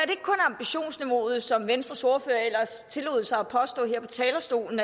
ambitionsniveauet som venstres ordfører ellers tillod sig at påstå her på talerstolen